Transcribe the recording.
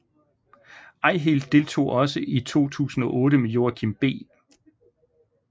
Eihilt deltog også i 2008 med Joachim B